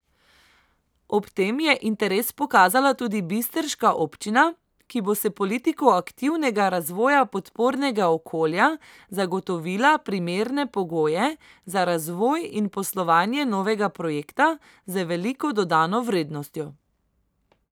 Ob tem je interes pokazala tudi bistriška občina, ki bo s politiko aktivnega razvoja podpornega okolja zagotovila primerne pogoje za razvoj in poslovanje novega projekta z veliko dodano vrednostjo.